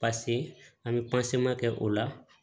Paseke an bɛ kɛ o la